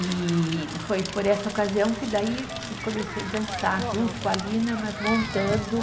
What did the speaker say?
E foi por essa ocasião que daí eu comecei dançar junto com a Lina, mas montando.